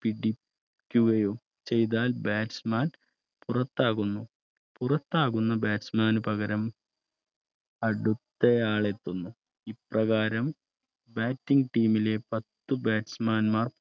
പിടിക്കുകയും ചെയ്താൽ Batchman പുറത്താകുന്നു പുറത്താകുന്ന Batchman കുപകരം അടുത്തയാൾ എത്തുന്നു ഇപ്രകാരം Batingteam ലെ പത്തു Batchman മാർ